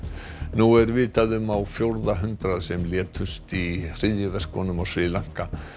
nú er vitað um á fjórða hundrað sem létust í hryðjuverkunum á Sri Lanka